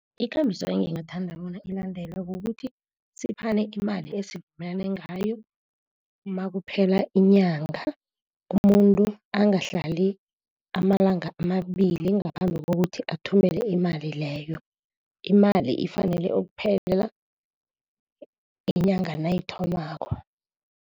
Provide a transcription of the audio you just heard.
Ikambiso engingathanda bona ilandelwe kukuthi siphane imali esivumelane ngayo nakuphela inyanga. Umuntu angahlali amalanga amabili ngaphambi kokuthi athumele imali leyo. Imali ifanele ukuphela inyanga nayithomako.